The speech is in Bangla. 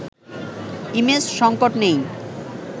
ইমেজ সংকট নেই